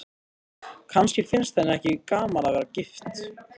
Kannski finnst henni ekki gaman að vera gift.